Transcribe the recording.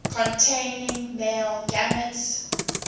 containing male gametes